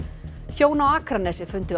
hjón á Akranesi fundu